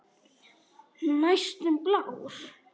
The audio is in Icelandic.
Næstum blár.